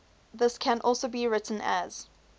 this can also be written as